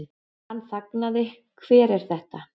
Hann þagnaði, Hver er þetta?